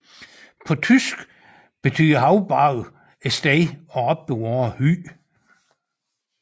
På tysk betyder haugbarg et sted at opbevare hø